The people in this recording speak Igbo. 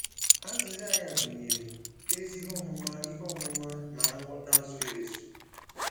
Azịza ya gụnyere “ezi ihe ọmụma ihe ọmụma na nghọta zuru ezu.”